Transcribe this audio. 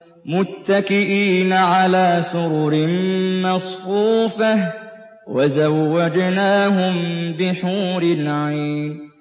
مُتَّكِئِينَ عَلَىٰ سُرُرٍ مَّصْفُوفَةٍ ۖ وَزَوَّجْنَاهُم بِحُورٍ عِينٍ